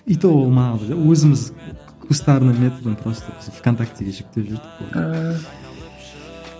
и то ол да өзіміз кустарный методпен просто в контактіге жүктеп жібердік болды ааа